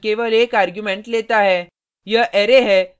shift function केवल एक argument लेता है